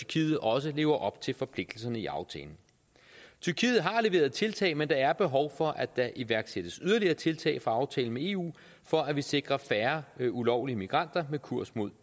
tyrkiet også lever op til forpligtelserne i aftalen tyrkiet har leveret tiltag men der er behov for at der iværksættes yderligere tiltag fra aftalen med eu for at vi sikrer færre ulovlige migranter med kurs mod